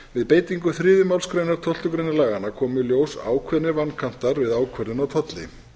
við beitingu þriðju málsgreinar tólftu greinar laganna komu í ljós ákveðnir vankantar við ákvörðun á tolli